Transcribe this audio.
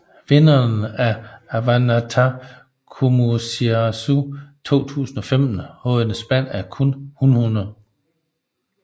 Vinderen af Avannaata Qimussersua 2015 havde et spand af kun hunhunde